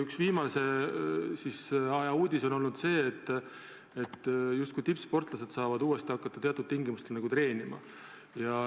Üks viimase aja uudis on olnud see, et tippsportlased saavad uuesti hakata teatud tingimustel treenima.